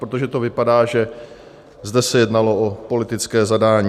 Protože to vypadá, že zde se jednalo o politické zadání.